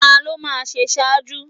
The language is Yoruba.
Ta ló máa ṣe ṣáájú?